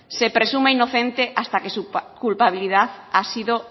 se presume inocente hasta que su culpabilidad ha sido